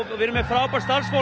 við erum með frábært starfsfólk